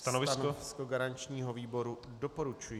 Stanovisko garančního výboru doporučující.